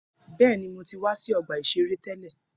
Bẹẹni, Mo ti wa si ọgba iṣere tẹlẹ.